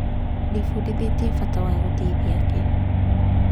Ndĩbundithĩtie bata wa gũteithia angĩ.